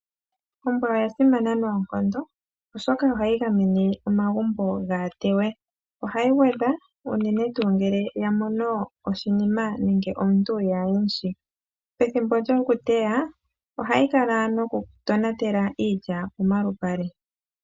Ombwa oya simana noonkondo oshoka ohayi gamene omagumbo kaga teywe. Ohayi gwedha unene ngele ya mono omuntu kayi mushi. Pethimbo lyokuteya ohayi kala noku tonatela iilya pomalupale.